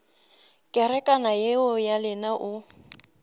kerekana yeo ya lena o